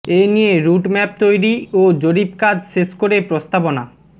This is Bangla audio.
এ নিয়ে রুট ম্যাপ তৈরি ও জরিপ কাজ শেষ করে প্রস্তাবনা